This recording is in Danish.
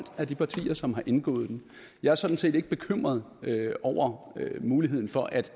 af de partier som har indgået den jeg er sådan set ikke bekymret over muligheden for at